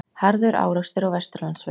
Harður árekstur á Vesturlandsvegi